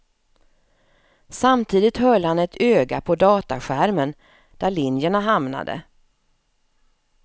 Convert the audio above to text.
Samtidigt höll han ett öga på dataskärmen, där linjerna hamnade.